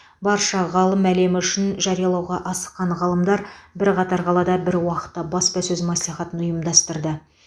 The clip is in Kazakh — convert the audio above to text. барша ғылым әлемі үшін жариялауға асыққан ғалымдар бірқатар қалада бір уақытта баспасөз мәслихатын ұйымдастырды